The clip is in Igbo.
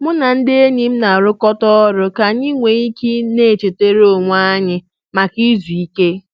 Mụ na ndị enyi m na-arụkọta ọrụ ka anyị nwee ike na-echetere onwe anyị maka izu ike